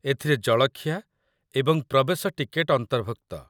ଏଥିରେ ଜଳଖିଆ ଏବଂ ପ୍ରବେଶ ଟିକେଟ୍‌ ଅନ୍ତର୍ଭୁକ୍ତ।